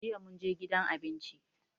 Jiya mun je gidan abinci.